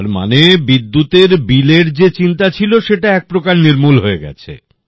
তার মানে বিদ্যুৎ এর বিলের যে চিন্তা ছিল সেটা এক প্রকার নির্মূল হয়ে গেছে